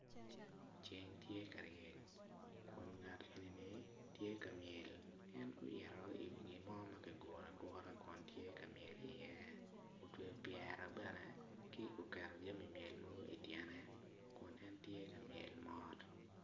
Ceng tye ka ryeny kun ngat enini tye ka myel en oyito i wi gimo ma ki guro agura kun tye ka myel i ye otweo pyere bene ki oketo jami myel i tyene kun en tye ka myel mot.